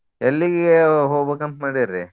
ಎಲ್ಲಿಗೆ ಹೊಗ್ಬೇಕಂತ ಮಾಡೇರಿ?